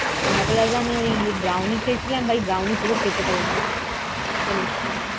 Marbella's এ আমি ওই Brownie খেয়েছিলাম, ভাই brownie পুরো খেতে পারিনি, এত মিষ্টি